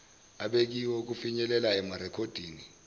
abekiwe okufinyelela erekhoddini